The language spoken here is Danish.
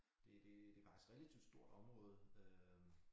Det det det faktisk relativt stort område øh